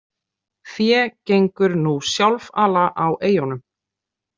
Fé gengur nú sjálfala á eyjunum.